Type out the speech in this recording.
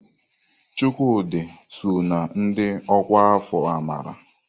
Chukwudi sọ na ndị ọkwá afọ amara.